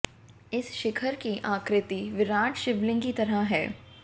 इस शिखर की आकृति विराट् शिवलिंग की तरह है